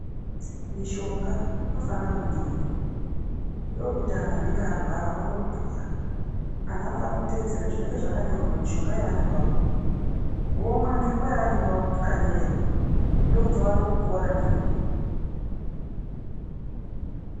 Mishonga inofana kumwiwa, ndokuti antu anenge arwara awone kupora, antu anofanira kuteedzera zvinenge zvakanyorwa pamushonga yavanenge vapuwa. Vomwa ngenguwa yavanenge vakanyorerwa, ndokuti vawane kupora nenguwa.